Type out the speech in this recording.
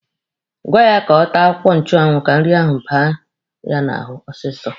Gwaa ya ka ọ taa akwụkwọ nchụanwụ ka nri ahụ baa ya n'ahụ ọsịsọ.